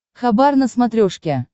хабар на смотрешке